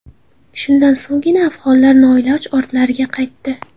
Shundan so‘nggina afg‘onlar noiloj ortlariga qaytdi.